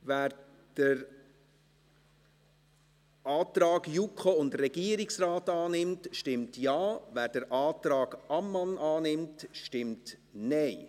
Wer den Antrag JuKo und Regierungsrat annimmt, stimmt Ja, wer den Antrag Ammann annimmt, stimmt Nein.